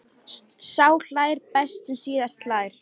Sá hlær best sem síðast hlær!